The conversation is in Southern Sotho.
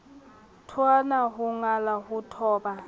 thotwana ho ngala ho thoba